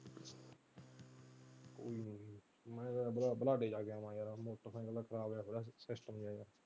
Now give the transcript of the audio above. ਮੈਂ ਤਾਂ ਬਰਾਡੇ ਜਾ ਕੇ ਆਵਾਂ .